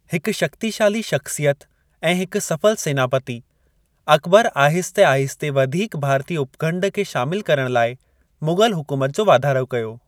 हिकु शक्तिशाली शख़्सियत ऐं हिकु सफल सेनापति, अकबर आहिस्ते -आहिस्ते वधीक भारतीअ उपखंडु खे शामिलु करण लाए मुग़ल हुकूमत जो वाधारो कयो।